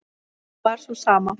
hún var sú sama.